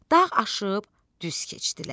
Dağ aşıb düz keçdilər,